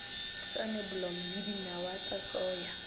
soneblomo le dinawa tsa soya